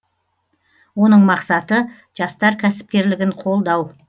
оның мақсаты жастар кәсіпкерлігін қолдау